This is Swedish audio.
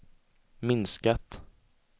minskat